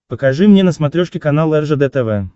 покажи мне на смотрешке канал ржд тв